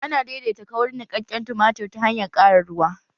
Ana daidaita kaurin niƙaƙƙen tumatir ta hanyar ƙara ruwa